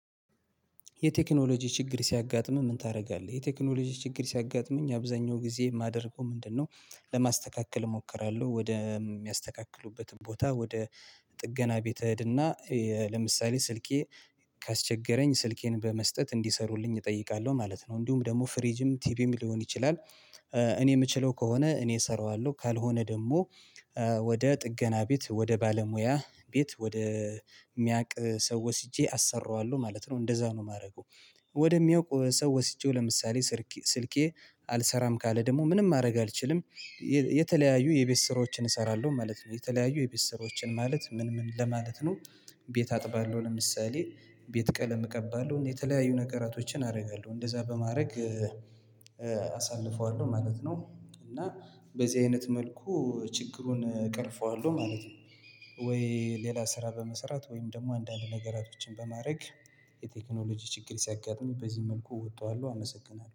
የቴክኖሎጂ ችግር ሲያጋጥምህ ምን ታደርጋለህ? የቴክኖሎጂ ችግር ሲያጋጥመኝ አብዛኛው ጊዜ የማደርገው ምንድነው። ለማስተካከል እሞክራለሁ ወደ የሚያስተካክሉበት ቦታ ወደ ጥገና ቤት እሄድና ለምሳሌ ስልኬ ካስቸገረኝ ስልኬን በመስጠት እንዲሰሩልኝ እጠይቃለሁ ማለት ነው። እንዲሁም ደግሞ ፍሪጅም ቲቪም ሊሆን ይችላል። እኔ የምችለው ከሆነ እኔ እሰራዋለሁ ካልሆነ ደግሞ ወደ ጥገና ቤት ወደ ባለሙያ ቤት ወደ የሚያውቅ ሰው ወስጄ አሰራዋለሁ ማለት ነው። እንደዛ ነው የማደርገው። ወደሚያውቅ ሰው ወስጄው ለምሳሌ ስልኬ አልሰራም ካለ ደግሞ ምንም ማድረግ አልችልም። የተለያዩ የቤት ስሮችን እሰራለሁ ማለት ነው። የተለያዩ የቤት ስሮችን ማለት ምን ምን ለማለት ነው? ቤት አጥባለሁ። ለምሳሌ ቤት ቀለም እቀባለሁ እና የተለያዩ ነገራቶችን አደርጋለሁ እንደዛ በማድረግ አሳልፈዋለሁ ማለት ነው። እና በዚህ አይነት መልኩ ችግሩን እቀርፈዋለሁ ማለት ነው። ወይ ሌላ ስራ በመሰራት ወይም ደግሞ አንዳንድ ነገሮችን በማድረግ። የቴክኖሎጂ ችግር ሲያጋጥሙኝ በዚህ መልኩ እወጣዋለሁ አመሰግናለሁ